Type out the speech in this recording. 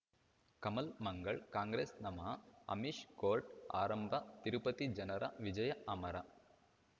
ಕಮಲ್ ಮಂಗಳ್ ಕಾಂಗ್ರೆಸ್ ನಮಃ ಅಮಿಷ್ ಕೋರ್ಟ್ ಆರಂಭ ತಿರುಪತಿ ಜನರ ವಿಜಯ ಅಮರ